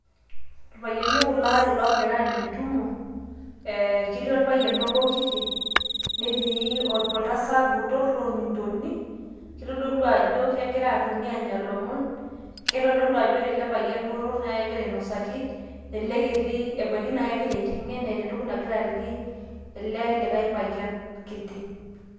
Irpayiani kulo aare oogira aanya entumo eee ketii orpayian obo kiti netii oltasat obo botor loolmiintoni neitodolu ajo kegira aanya ilomon keitodolu ajo ore ele payian botor naa kegira ainosaki ele kiti ebaiki naa kegira aiteng'en eeta entoki nagira aliki ele lekae payian kiti.